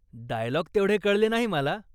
Dialogue तेवढे कळले नाही मला.